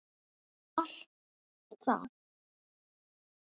og allt það.